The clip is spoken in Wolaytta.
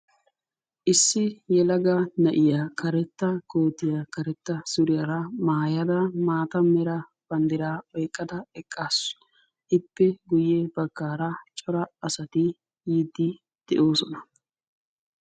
Issi yelaga na'iya karetta kootiyaa karetta suriyaara maayada maataera banddira oyqqada eqqasu. Ippe guyye baggaara cora asati yiide de'oosona.